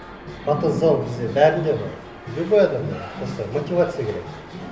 потенциал бізде бәрінде бар любой адамда бар просто мотивация керек